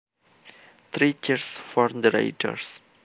Three cheers for the raiders